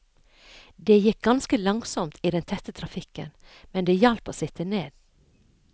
Det gikk ganske langsomt i den tette trafikken, men det hjalp å sitte ned.